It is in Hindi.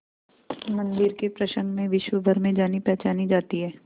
मंदिर के प्रसंग में विश्वभर में जानीपहचानी जाती है